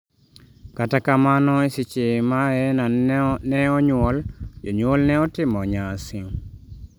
kata kamano e seche ma Heena ne onyuol jonyuol ne otimo nyasi